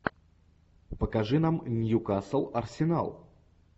покажи нам ньюкасл арсенал